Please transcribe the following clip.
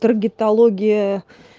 таргетология